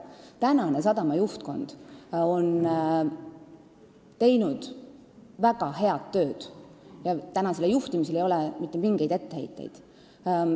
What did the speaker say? Praegune sadama juhtkond on teinud väga head tööd, ettevõtte juhtimisele ei ole mitte mingeid etteheiteid.